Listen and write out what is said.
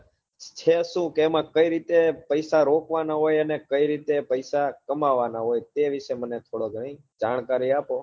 છે શું કે એમાં કઈ રીતે પૈસા રોકવા ના હોય ને કઈ રીતે પૈસા કમાવા ના હોય તે વિષે મને થોડો જાણકારી આપો